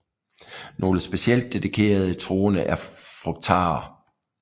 Nogle specielt dedikerede troende er frugtarer